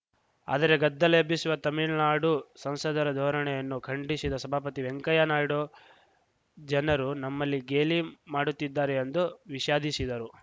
ಆದರೆ ಗದ್ದಲ ಎಬ್ಬಿಸುವ ತಮಿಳ್ನಾಡು ಸಂಸದರ ಧೋರಣೆಯನ್ನು ಖಂಡಿಸಿದ ಸಭಾಪತಿ ವೆಂಕಯ್ಯ ನಾಯ್ಡು ಜನರು ನಮ್ಮಲ್ಲಿ ಗೇಲಿ ಮಾಡುತ್ತಿದ್ದಾರೆಎಂದು ವಿಷಾದಿಸಿದರು